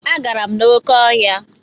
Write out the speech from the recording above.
Agara m n'oké ọhịa.